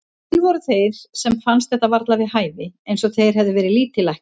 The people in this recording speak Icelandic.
Til voru þeir sem fannst þetta varla við hæfi, eins og þeir hefðu verið lítillækkaðir.